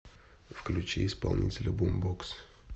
включи исполнителя бумбокс